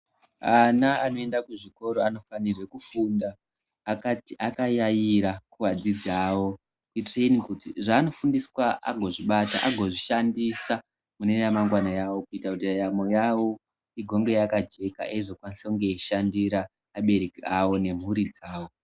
Ana anoenda kuzvikora anofanirwa kufunda Akayayira kuvadzidzi vavo kuitira kuti zvanofundiswa agozvibata agozvishandisa mune ramangwana rawo kuitira kuti ndaramo yawo igonge yakajeka eizokwanisa kushandira vabereki vavo nemburi dzawo.